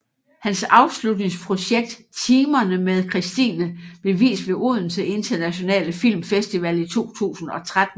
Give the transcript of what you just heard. Hans afslutningsprojekt Timerne med Christine blev vist ved Odense Internationale Film Festival i 2013